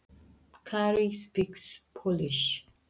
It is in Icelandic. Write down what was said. Kári talar pólsku.